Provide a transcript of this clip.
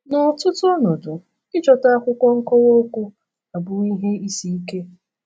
N’ọtụtụ ọnọdụ, ịchọta akwụkwọ nkowa okwu abụwo ihe isi ike.